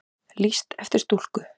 Lýst eftir stúlku